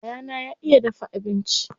Yayana ya iya dafa abinci.